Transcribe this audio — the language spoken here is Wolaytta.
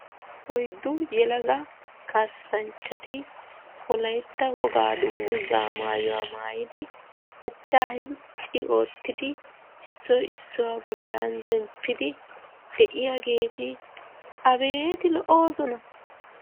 Oyddu yelaga kaassanchchati wolaytta wogaa dungguzaa maayidi achchaa hencci oottidi issoy issuwa bollan zemppidi de'iyageeti abeeti lo'oosona.